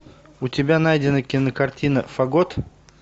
у тебя найдена кинокартина фагот